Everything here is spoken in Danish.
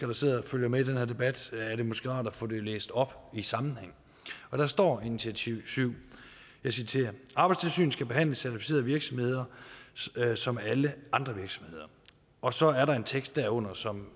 der sidder og følger med i den her debat er det måske rart at få det læst op i sammenhæng og der står i initiativ syv jeg citerer arbejdstilsynet skal behandle certificerede virksomheder som alle andre virksomheder og så er der en tekst derunder som